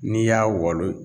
N'i y'a walo